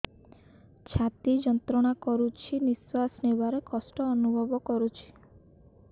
ଛାତି ଯନ୍ତ୍ରଣା କରୁଛି ନିଶ୍ୱାସ ନେବାରେ କଷ୍ଟ ଅନୁଭବ କରୁଛି